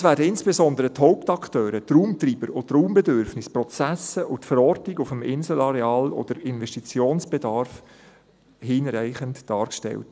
Insbesondere die Hauptakteure, die Raumtreiber und die Raumbedürfnisse, die Prozesse, die Verortung auf dem Inselareal sowie der Investitionsbedarf werden aber hinreichend dargestellt.